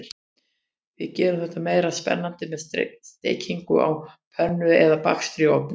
Við gerum þetta meira spennandi með steikingu á pönnu eða bakstri í ofni.